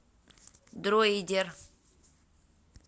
дроидер